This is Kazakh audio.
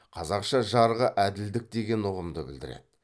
қазақша жарғы әділдік деген ұғымды білдіреді